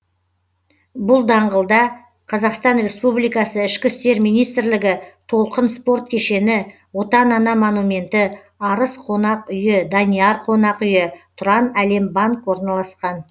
бұл даңғылда қазақстан республикасы ішкі істер министрлігі толқын спорт кешені отан ана монументі арыс қонақ үйі данияр қонақ үйі тұранәлембанк орналасқан